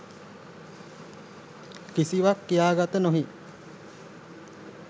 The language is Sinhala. කිසිවක් කියාගත නොහී